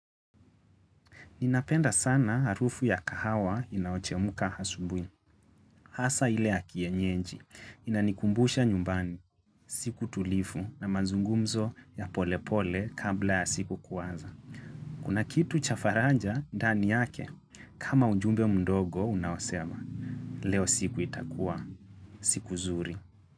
Ninapenda sana harufu ya kahawa inayochemuka asubui. Hasaa ile ya kienyeji. Inanikumbusha nyumbani, siku tulivu na mazungumzo ya polepole kabla ya siku kuanza. Kuna kitu cha faraja ndani yake. Kama ujumbe mdogo unaosema, leo siku itakuwa siku zuri.